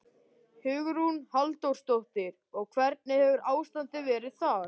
Hugrún Halldórsdóttir: Og hvernig hefur ástandið verið þar?